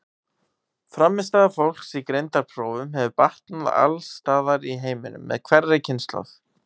Frammistaða fólks í greindarprófum hefur batnað alls staðar í heiminum með hverri kynslóð.